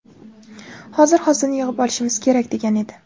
Hozir hosilni yig‘ib olishimiz kerak!” degan edi.